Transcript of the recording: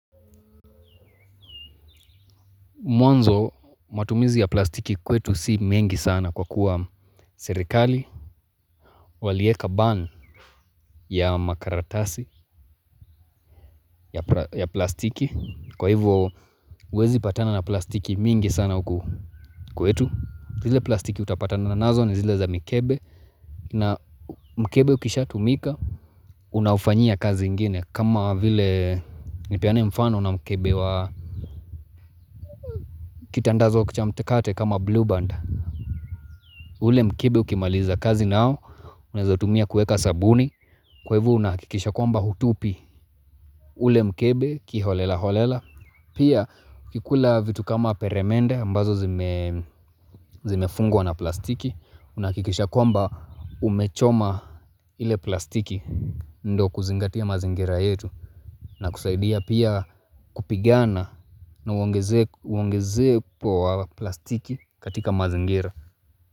Mwanzo matumizi ya plastiki kwetu si mengi sana kwa kuwa serikali, walieka ban ya makaratasi ya plastiki, kwa hivyo uwezi patana na plastiki mingi sana uku kwetu. Zile plastiki utapatana na nazo ni zile za mikebe na mkebe ukisha tumika, unaufanyia kazi ingine kama vile nipeane mfano na mkebe wa kitandazo cha mkate kama blue band. Ule mkebe ukimaliza kazi nao, unaezautumia kuweka sabuni, kwa hivo unahakikisha kwamba hutupi ule mkebe kiholela holela, pia ukikula vitu kama peremende ambazo zimefungwa na plastiki, unahakikisha kwamba umechoma ile plastiki, ndo kuzingatia mazingira yetu, na kusaidia pia kupigana na uongezepo wa plastiki katika mazingira.